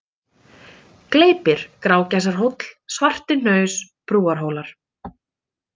Gleypir, Grágæsarhóll, Svartihnaus, Brúarhólar